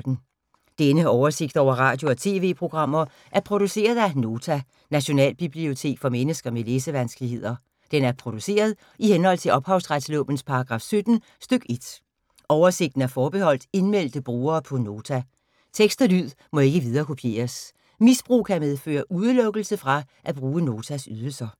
Denne oversigt over radio og TV-programmer er produceret af Nota, Nationalbibliotek for mennesker med læsevanskeligheder. Den er produceret i henhold til ophavsretslovens paragraf 17 stk. 1. Oversigten er forbeholdt indmeldte brugere på Nota. Tekst og lyd må ikke viderekopieres. Misbrug kan medføre udelukkelse fra at bruge Notas ydelser.